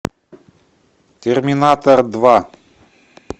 терминатор два